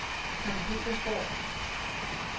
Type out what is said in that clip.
Sankt Petersborg